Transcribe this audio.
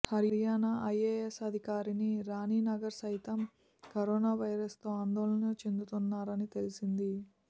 Haryana IAS అధికారిని రాణి నగర్ సైతం corona virus తో ఆందోళన చెందుతున్నారని తెలిసింది